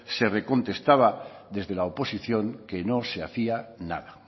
se le contestaba desde la oposición que no se hacía nada